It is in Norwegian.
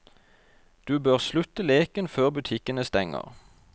Du bør slutte leken før butikkene stenger.